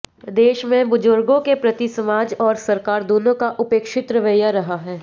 देश में बुजुर्गों के प्रति समाज और सरकार दोनों का उपेक्षित रवैया रहा है